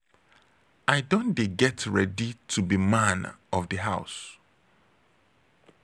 i don dey get ready to be man of di house.